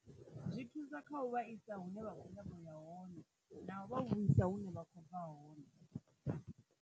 Zwi thusa kha u vhaisa hune vha kho nyaga u ya hone, na vho vha vha shumisa hune vha kho bva hone.